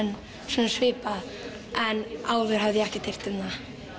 svona svipað en áður hafði ég ekkert heyrt um það